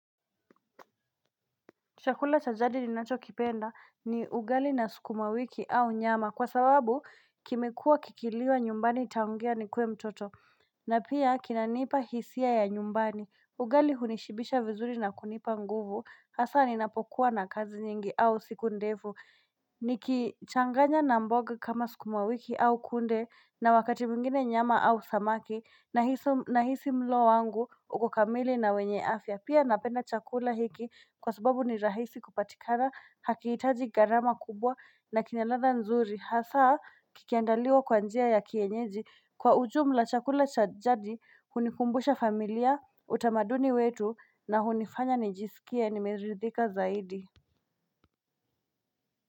Chakula cha jadi ninacho kipenda ni ugali na sukuma wiki au nyama kwa sababu kimekua kikiliwa nyumbani tangia nikuwe mtoto na pia kinanipa hisia ya nyumbani ugali hunishibisha vizuri na kunipa nguvu hasa ninapokuwa na kazi nyingi au siku ndefu Nikichanganya na mboga kama sukumawiki au kunde na wakati mwingine nyama au samaki na hisi mlo wangu ukokamili na wenye afya pia napenda chakula hiki kwa sababu ni rahisi kupatikana hakiitaji garama kubwa na kinaladha nzuri hasa kikiandaliwa kwa njia ya kienyeji kwa ujumla chakula cha jadi hunikumbusha familia utamaduni wetu na hunifanya nijisikie nimeridhika zaidi.